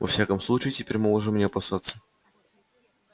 во всяком случае теперь мы можем не опасаться